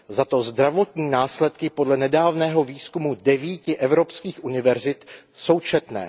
Zato zdravotní následky podle nedávného výzkumu 9 evropských univerzit jsou četné.